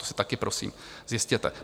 To si taky prosím zjistěte.